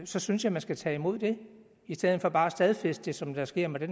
så synes jeg man skal tage imod det i stedet for bare at stadfæste det som det sker med det